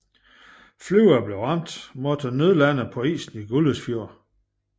Flyene blev ramt måtte nødlande på isen i Gullesfjord